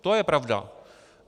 To je pravda.